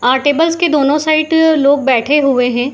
अ tables के दोनों side लोग बैठे हुए हैं।